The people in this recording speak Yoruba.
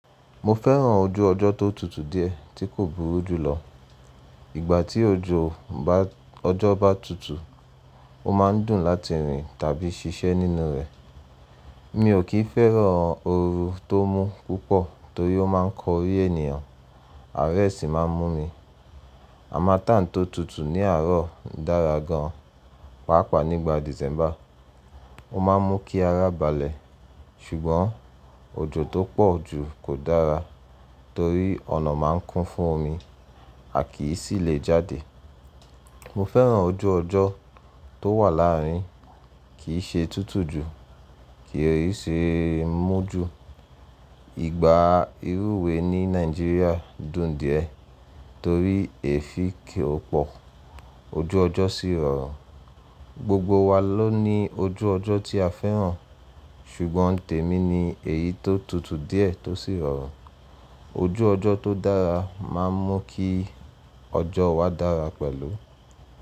Mo fẹ́ràn ojú ọjọ́ tó tutù díẹ̀ tí kò burú jùlọ. Ìgbà tí ojú ọjọ́ bá tutù, ó máa ń dùn láti rìn tàbí ṣiṣẹ́ nínú rẹ̀. Mi ò kín fẹ́ràn oru tó mú púpọ̀ torí ó máa ń korí ènìyàn, àárẹ̀ sì máa ń mú mi. Àmátán tó tutù ní àárọ̀ dára gan pàápàá nígbà Dìsẹ́mbà. Ó máa ń mú kí ara balẹ̀ ṣùgbọ́n ojò tó pọ̀ jù kò dára torí ọ̀nà máa ń kún fún omi, a kì í sì lè jáde. Mo fẹ́ràn ojú ọjọ́ tó wà láàrín, kì í ṣe tútù jù, kì í sì mú ju. Ìgbà ìrùwé ní Nàìjíríà dùn díẹ̀ torí èéfín kì í pọ̀, ojú ọjọ́ sì rọrùn. Gbogbo wa ló ní ojú ọjọ́ tí a fẹ́ràn ṣùgbọ́n tèmi ni èyí tó tutù díẹ̀ tó sì rọrùn. Ojú ọjọ́ tó dára máa ń mú kí ọjọ́ wa dára pẹ̀lú.